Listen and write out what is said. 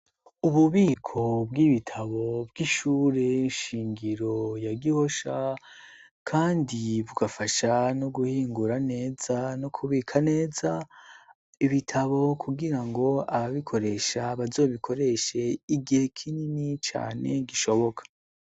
Ububiko bw'ibitabo bw'ishure nshingiro ya gihosha, kandi bugafasha no guhingura neza no kubika neza ibitabo kugira ngo ababikoresha bazobikoreshe igihe kinini cane gishoboka.